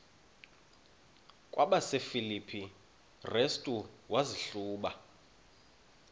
kwabasefilipi restu wazihluba